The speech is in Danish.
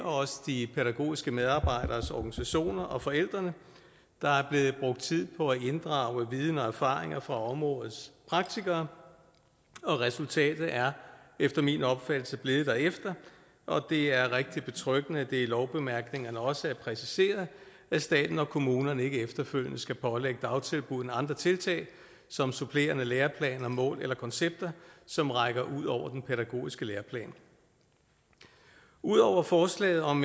også de pædagogiske medarbejderes organisationer og forældrene der er blevet brugt tid på at inddrage viden og erfaring fra områdets praktikere og resultatet er efter min opfattelse blevet derefter det er rigtig betryggende at det i lovbemærkningerne også er præciseret at staten og kommunerne ikke efterfølgende skal pålægge dagtilbuddene andre tiltag som supplerende læreplaner mål eller koncepter som rækker ud over den pædagogiske læreplan udover forslaget om